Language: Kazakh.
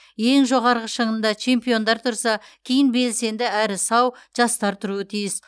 ең жоғарғы шыңында чемпиондар тұрса кейін белсенді әрі сау жастар тұруы тиіс